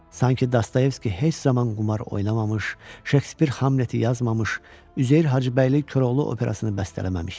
Sanki Dostoyevski heç zaman qumar oynamamış, Şekspir Hamleti yazmamış, Üzeyir Hacıbəyli Koroğlu operasını bəstələməmişdi.